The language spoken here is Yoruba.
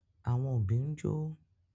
Àwọn òbí ń jó